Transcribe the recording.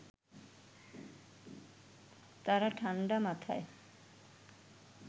তারা ঠাণ্ডা মাথায়